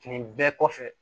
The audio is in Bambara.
Fini bɛɛ kɔfɛ